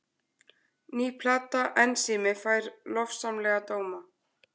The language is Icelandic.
Ný plata Ensími fær lofsamlega dóma